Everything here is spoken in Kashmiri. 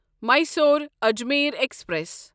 میصور اجمیر ایکسپریس